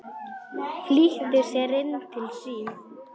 Flýtti sér inn til sín.